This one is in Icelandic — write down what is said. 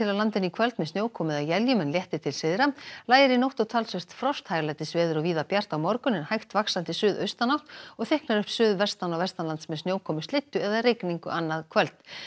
landinu í kvöld með snjókomu eða éljum en léttir til syðra lægir í nótt og talsvert frost hæglætisveður og víða bjart á morgun en hægt vaxandi suðaustanátt og þykknar upp suðvestan og vestanlands með snjókomu slyddu eða rigningu annað kvöld